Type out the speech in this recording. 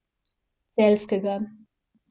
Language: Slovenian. Celjskega.